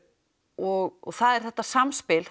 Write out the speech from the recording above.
og það er þetta samspil